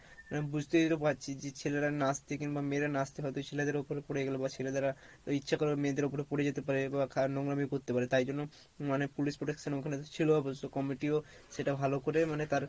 মানে বুঝতেই তো পারছিস যে ছেলেরা নাচতে মিংবা মেয়েরা নাচতে হয়তো ছেলেদের ওপরে পরে গেলো বা ছেলেদের রা ওই ইচ্ছে করে মেয়েদের ওপরে পরে যেতে পারে বা নোংরামি করতে পারে তাই জন্য মানে police protection ওখানে ছিলো, so comity ও সেটা ভালো করে মানে তার